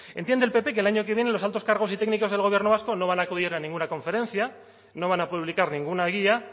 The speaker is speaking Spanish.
entiende el pp que el año que viene los altos cargos y técnicos del gobierno vasco no van a acudir a ninguna conferencia no van a publicar ninguna guía